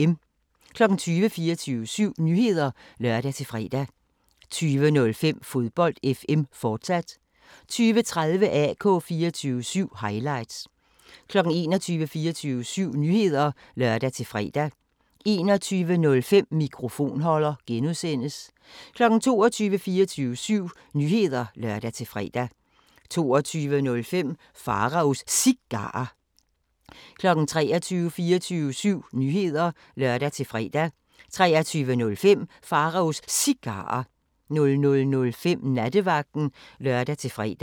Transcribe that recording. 20:00: 24syv Nyheder (lør-fre) 20:05: Fodbold FM, fortsat 20:30: AK 24syv – highlights 21:00: 24syv Nyheder (lør-fre) 21:05: Mikrofonholder (G) 22:00: 24syv Nyheder (lør-fre) 22:05: Pharaos Cigarer 23:00: 24syv Nyheder (lør-fre) 23:05: Pharaos Cigarer 00:05: Nattevagten (lør-fre)